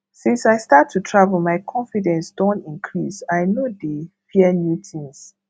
since i start to travel my confidence don increase i no dey fear new tins